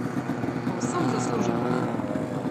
Povsem zasluženo!